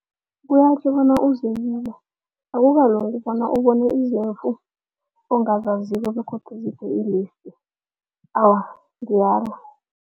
Kuyatjho bona uzebile akukalungi bona ubone izimvu ongazaziko begodu awa ngiyala.